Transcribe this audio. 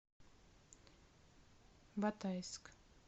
батайск